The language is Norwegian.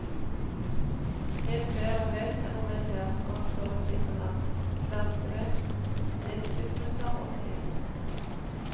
Jeg ser og vedkjenner meg deres makt over tidevann, plantevekst, livssykluser og tid.